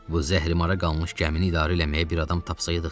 Vay zəhrimara qalmış gəmini idarə eləməyə bir adam tapsaydıq.